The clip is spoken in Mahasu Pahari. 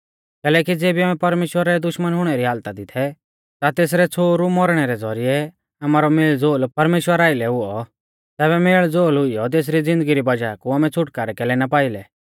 कैलैकि ज़ेबी आमै परमेश्‍वरा रै दुश्मन हुणै री हालता दी थै ता तेसरै छ़ोहरु मौरणै रै ज़ौरिऐ आमारौ मेलज़ोल परमेश्‍वरा आइलै हुऔ तैबै मेलज़ोल हुईयौ तेसरी ज़िन्दगी री वज़ाह कु आमै छ़ुटकारौ कैलै ना पाइलै